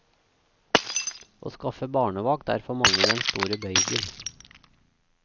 Å skaffe barnevakt er for mange den store bøygen.